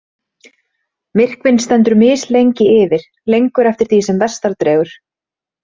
Myrkvinn stendur mislengi yfir, lengur eftir því sem vestar dregur.